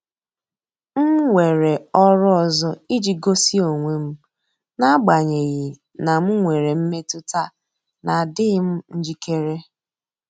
M weere ọrụ ọzọ iji gosi onwe m, n'agbanyeghị na m nwere mmetụta na adịghị m njikere.